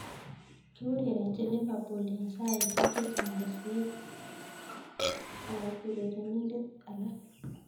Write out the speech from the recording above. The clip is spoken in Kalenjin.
Kiurerenji Liverpool eng saisiek chehcang kosir (4465) ab urerenindet alake.